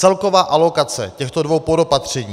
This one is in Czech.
Celková alokace těchto dvou podopatření...